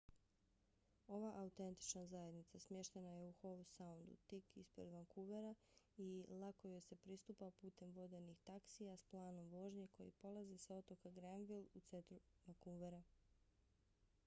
ova autentična zajednica smještena je u howe soundu tik ispred vankuvera i lako joj se pristupa putem vodenih taksija s planom vožnje koji polaze sa otoka granville u centru vancouvera